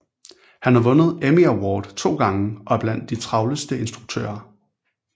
Han har vundet Emmy Award to gange og er blandt de travleste instruktører